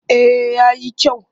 Eh ya yi kyau